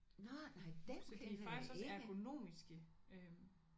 Nåh nej dem kender jeg ikke